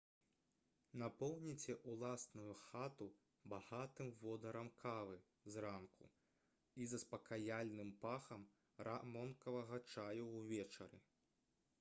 напоўніце ўласную хату багатым водарам кавы зранку і заспакаяльным пахам рамонкавага чаю ўвечары